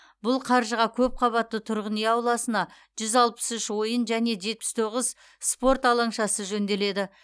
бұл қаржыға көпқабатты тұрғын үй ауласында жүз алпыс үш ойын және жетпіс тоғыз спорт алаңшасы жөнделеді